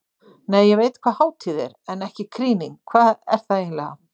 Nei, ég veit hvað hátíð er, en ekki krýning hvað er það eiginlega?